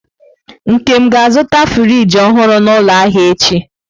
Nkem ga-azụta friji ọhụrụ n'ụlọ ahịa echi?